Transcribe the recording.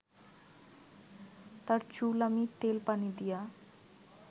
তর চুল আমি তেল পানি দিয়া